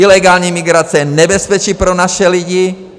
Ilegální migrace je nebezpečí pro naše lidi.